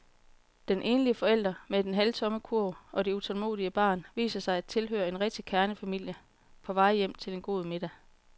Den enlige forælder med den halvtomme kurv og det utålmodige barn viser sig at tilhøre en rigtig kernefamilie på vej hjem til en god middag.